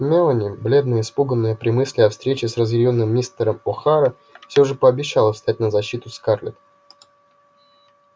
мелани бледная испуганная при мысли о встрече с разъярённым мистером охара всё же пообещала встать на защиту скарлетт